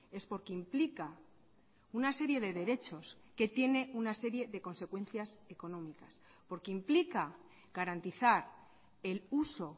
es porque implica una serie de derechos que tiene una serie de consecuencias económicas porque implica garantizar el uso